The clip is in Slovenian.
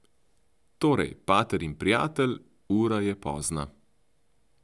Torej, pater in prijatelj, ura je pozna.